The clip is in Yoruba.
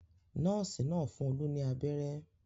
Nọ́ọ́sì náà fún Olú ní abẹ́rẹ́.